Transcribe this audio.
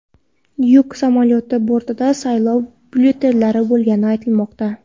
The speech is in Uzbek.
Yuk samolyoti bortida saylov byulletenlari bo‘lgani aytilmoqda.